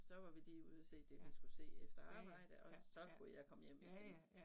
Så var vi lige ude at se det vi skulle se efter arbejde og så kunne jeg komme hjem igen